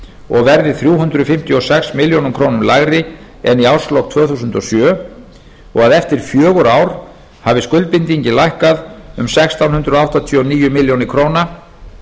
og verði þrjú hundruð fimmtíu og sex milljónir króna lægri en í árslok tvö þúsund og sjö og að eftir fjögur ár hafi skuldbindingin lækkað um sextán hundruð áttatíu og níu milljónir króna